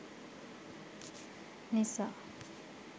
nisa